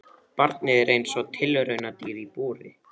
Barnið er eins og tilraunadýr í búri.